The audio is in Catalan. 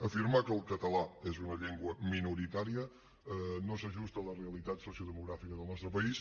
afirmar que el català és una llengua minoritària no s’ajusta a la realitat sociodemogràfica del nostre país